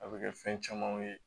A bɛ kɛ fɛn camanw ye